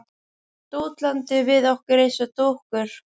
Dútlandi við okkur eins og dúkkur.